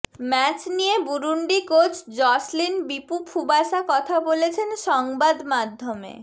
match নিয়ে Burundi coach Joslin Bipfubusa কথা বলেছেন সংবাদমাধ্যমে